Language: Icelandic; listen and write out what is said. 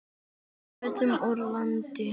Við fluttum úr landi.